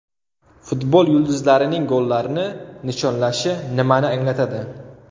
Futbol yulduzlarining gollarni nishonlashi nimani anglatadi?.